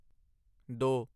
ਦੋ